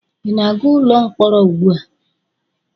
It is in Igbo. Ị na-aga ụlọ mkpọrọ ugbu a?